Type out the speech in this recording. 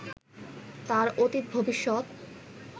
তার অতীত ভবিষ্যৎ